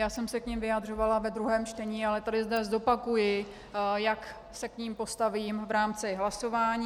Já jsem se k nim vyjadřovala ve druhém čtení, ale tady dnes zopakuji, jak se k nim postavím v rámci hlasování.